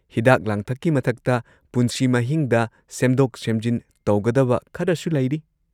ꯍꯤꯗꯥꯛ-ꯂꯥꯡꯊꯛꯀꯤ ꯃꯊꯛꯇ, ꯄꯨꯟꯁꯤ ꯃꯍꯤꯡꯗ ꯁꯦꯝꯗꯣꯛ-ꯁꯦꯝꯖꯤꯟ ꯇꯧꯒꯗꯕ ꯈꯔꯁꯨ ꯂꯩꯔꯤ꯫